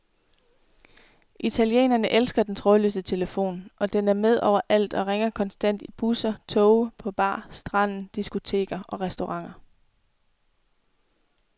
Italienerne elsker den trådløse telefon, og den er med overalt og ringer konstant i busser, toge, på bar, stranden, diskoteker og restauranter.